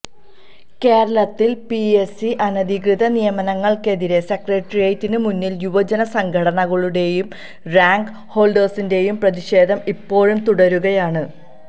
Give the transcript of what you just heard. കേരളത്തിൽ PS C അനധികൃത നിയമനങ്ങൾക്കെതിരെ സെക്രട്ടേറിയറ്റിന് മുന്നിൽ യുവജന സംഘടനകളുടെയും റാങ്ക് ഹോൾഡേഴ്സിന്റെയും പ്രതിഷേധം ഇപ്പോഴും തുടരുകയാണ്